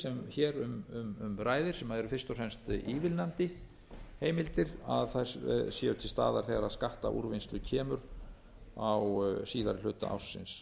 sem hér um ræðir sem eru fyrst og fremst ívilnandi heimildir að þær séu til staðar þegar að skattaúrvinnslu kemur á síðari hluta ársins